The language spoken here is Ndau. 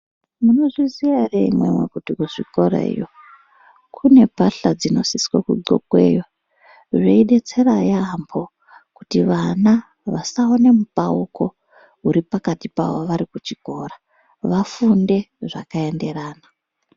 Muno zviziya ere imimi kuti ku zvikorayo kune bahla dzinosisa ku ndxokweyo zvei detsera yambo kuti vana vasaone mupauko uri pakati pavo vari ku chikora vafunde zvaka enderana.